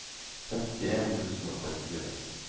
femtien tusen og trettifire